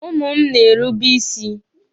Ụmụ m na-erube isi.